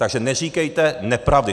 Takže neříkejte nepravdy.